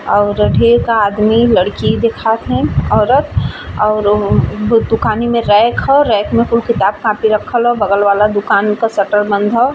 और आदमी लड़की देखात है औरत और उ दुकानी में रैक हो रैक में खूब किताब-कॉपी रखल हो बगल वाला दुकान उके शटर बंद हो।